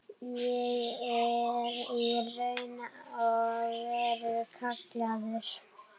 Ég er í raun og veru kallaður.